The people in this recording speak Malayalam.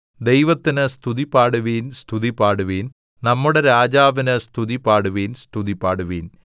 ദൈവത്തിന് സ്തുതിപാടുവിൻ സ്തുതിപാടുവിൻ നമ്മുടെ രാജാവിന് സ്തുതിപാടുവിൻ സ്തുതിപാടുവിൻ